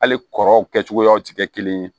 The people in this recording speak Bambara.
Hali kɔrɔw kɛ cogoyaw tɛ kɛ kelen ye